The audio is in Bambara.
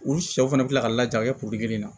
U sɛw fana bɛ kila ka laja a kɛ kelen na